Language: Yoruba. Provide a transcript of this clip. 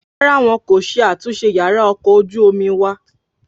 Rárá wọn kò ṣe àtúnṣe yàrá ọkọ̀ ojú omi wa